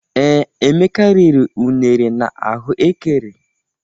Ee, Emeka riri unere na ahụ ékẹrè.